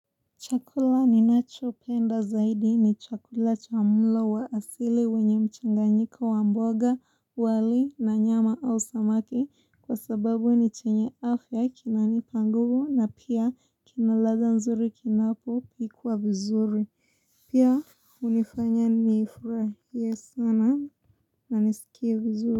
Chakula ninacho penda zaidi ni chakula cha mlo wa asili wenye mchanganyiko wa mboga wali na nyama au samaki kwa sababu ni chenye afya kinanipa nguvu na pia kinaladha nzuri kinapopikwa vizuri. Pia unifanya nifurahie sana na nisikie vizuri.